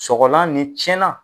Sɔgɔlan ni cɛnna